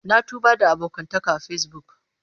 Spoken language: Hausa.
Na tuba da abokantaka a Facebook.